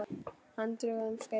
Hann dugði um skeið.